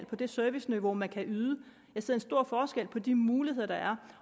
på det serviceniveau man kan yde jeg ser en stor forskel på de muligheder der er